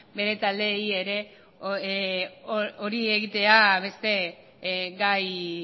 bere taldeari ere hori egitea beste gai